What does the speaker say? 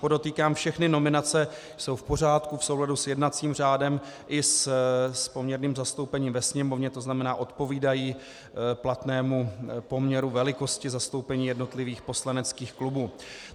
Podotýkám, všechny nominace jsou v pořádku v souladu s jednacím řádem i s poměrným zastoupením ve Sněmovně, to znamená, odpovídají platnému poměru velikosti zastoupení jednotlivých poslaneckých klubů.